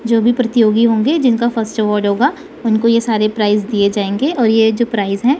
जो भी प्रतियोगी होंगे जिनका फर्स्ट अवॉर्ड होगा उनको यह सारे प्राइस दिए जाएंगे और ये जो प्राइस है।